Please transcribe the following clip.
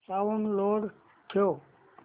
sound low ठेव